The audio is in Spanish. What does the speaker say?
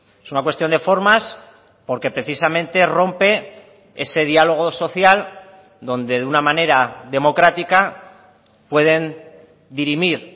es una cuestión de formas porque precisamente rompe ese diálogo social donde de una manera democrática pueden dirimir